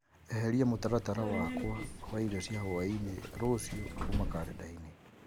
eheria mũtaratara wakwa wa irio cia hwaĩ-inĩ rũciũ kuma karenda-inĩ